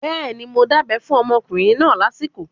Bẹ́ẹ̀ni, mo dábẹ́ fún ọmọkùnrin náà lásìkò